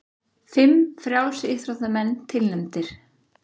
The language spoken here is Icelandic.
Fimm frjálsíþróttamenn tilnefndir